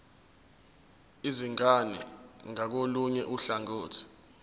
izingane ngakolunye uhlangothi